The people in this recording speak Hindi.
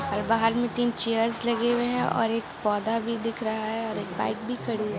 और बहार में तीन चेयर्स लगे हुए है और एक पौधा भी दिख रहा है और एक बाइक भी खड़ी है।